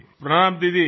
પ્રણામ દીદી